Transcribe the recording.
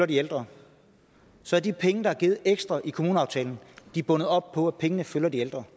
de ældre så er de penge der er givet ekstra i kommuneaftalen bundet op på at pengene følger de ældre